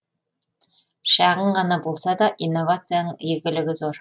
шағын ғана болса да инновацияның игілігі зор